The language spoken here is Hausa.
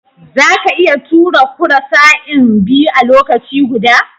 Zaka iya tura karusai'n biyu a lokaci guda?